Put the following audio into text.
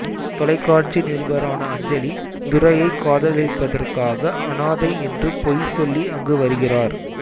தொலைக்காட்சி நிருபரான அஞ்சலி துரையைக் காதலிப்பதற்காக அனாதை என்று பொய் சொல்லி அங்கு வருகிறார்